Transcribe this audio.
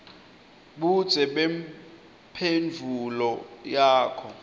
budze bemphendvulo yakho